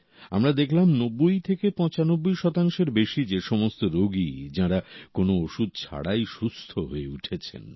আমরা দেখলাম 90 থেকে 95 শতাংশের বেশি যে সমস্ত রোগী যাঁরা কোনো ওষুধ ছাড়াই সুস্থ হয়ে উঠেছেন